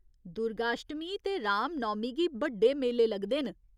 दुर्गाश्टमी ते राम नौमी गी बड्डे मेले लगदे न।